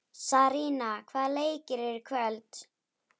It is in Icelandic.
Sarína, hvaða leikir eru í kvöld?